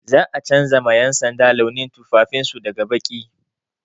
Za a canja ma 'yansanda launin tufafin su daga baƙi.